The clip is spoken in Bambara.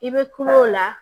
I bɛ kuma o la